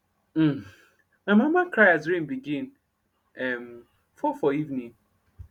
hm my mama cry as rain begin um fall for evenin